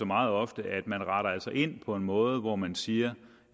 meget ofte at man altså retter ind på en måde hvor man siger